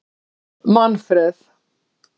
Manfred